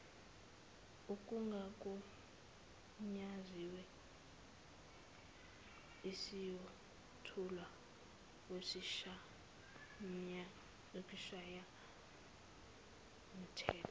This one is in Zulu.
kungagunyaziwe esiyothulwa kwisishayamthetho